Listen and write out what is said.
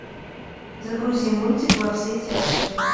загрузи мультик во все тяжкие